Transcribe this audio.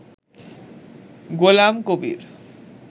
Golam Kabir